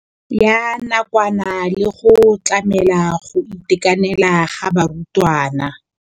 Ya nakwana le go tlamela go itekanela ga barutwana.